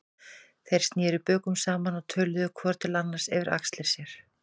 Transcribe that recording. Þeir sneru bökum saman og töluðu hvor til annars yfir axlir sér.